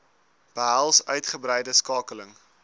behels uitgebreide skakeling